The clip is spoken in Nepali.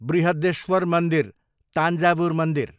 बृहद्देश्वर मन्दिर, तान्जावुर मन्दिर